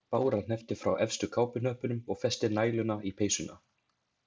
Bára hneppti frá efstu kápuhnöppunum og festi næluna í peysuna.